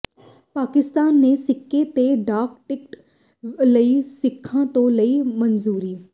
ਪਾਕਿਸਤਾਨ ਨੇ ਸਿੱਕੇ ਤੇ ਡਾਕ ਟਿਕਟ ਲਈ ਸਿੱਖਾਂ ਤੋਂ ਲਈ ਮਨਜ਼ੂਰੀ